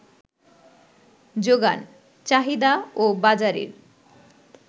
যোগান, চাহিদা ও বাজারের